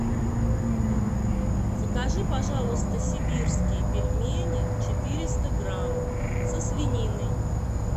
закажи пожалуйста сибирские пельмени четыреста грамм со свининой